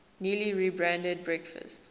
newly rebranded breakfast